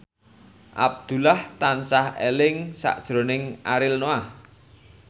Abdullah tansah eling sakjroning Ariel Noah